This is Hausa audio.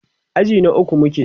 aji na ukwu muke